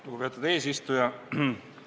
Lugupeetud eesistuja!